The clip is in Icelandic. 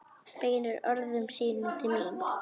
Beinir orðum sínum til mín.